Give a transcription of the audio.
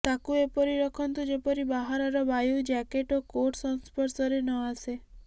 ତାକୁ ଏପରି ରଖନ୍ତୁ ଯେପରି ବାହାରର ବାୟୁ ଜ୍ୟାକେଟ ଓ କୋଟ ସଂସ୍ପର୍ଶରେ ନ ଆସେ